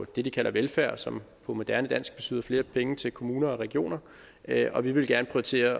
det de kalder velfærd som på moderne dansk betyder flere penge til kommuner og regioner og vi ville gerne prioritere